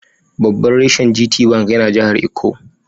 Babban reshen GT Bank yana jahar Ikko.